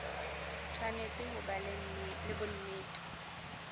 tshwanetse ho ba le bonnete